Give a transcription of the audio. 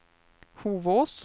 Hovås